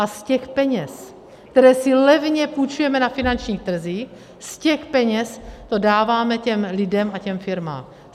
A z těch peněz, které si levně půjčujeme na finančních trzích, z těch peněz to dáváme těm lidem a těm firmám.